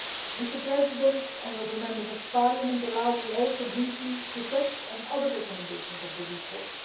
Mr President, honourable Members, allow me now briefly to touch on other recommendations in the report.